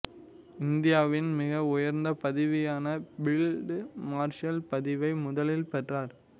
இந்தியாவின் மிக உயர்ந்த பதவியான பீல்டு மார்ஷல் பதவியை முதலில் பெற்றார்